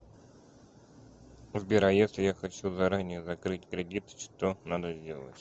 сбер а если я хочу заранее закрыть кредит что надо сделать